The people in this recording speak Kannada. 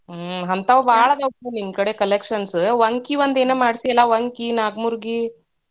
ಹ್ಮ್, ಅಂತಾವ್ ಭಾಳ್ ಅದಾವ್ ನಿನ್ನ ಕಡೆ collections ವಂಕಿ ಒಂದೇನ ಮಾಡ್ಸಿ ಅಲಾ ವಂಕಿ, ನಾಕ್ಮೂರ್ಗಿ.